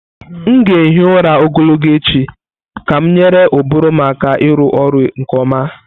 M ga-ehi ụra ogologo echi ka m nyere ụbụrụ m aka ịrụ ọrụ nke ọma.